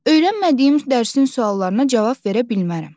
Öyrənmədiyim dərsin suallarına cavab verə bilmərəm.